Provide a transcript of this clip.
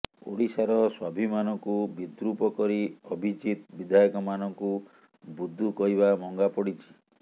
ଓଡ଼ିଶାର ସ୍ବାଭିମାନକୁ ବିଦ୍ରୁପ କରି ଅଭିଜିତ ବିଧାୟକମାନଙ୍କୁ ବୁଦ୍ଦୁ କହିବା ମହଙ୍ଗା ପଡିଛି